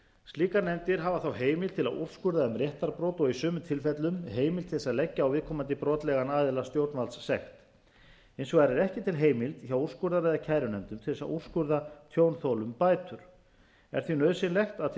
slíkar nefndir hafa þá heimild til að úrskurða um réttarbrot og í sumum tilfellum heimild til þess að leggja á viðkomandi brotlegan aðila stjórnvaldssekt hins vegar er ekki til heimild hjá úrskurðar eða kærunefndum til þess að úrskurða tjónþolum bætur er því nauðsynlegt að til